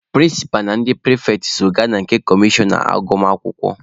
Prịnsịpa na ndị pịrịfetị so gaba na nke kọmishọna agụmakwụkwọ.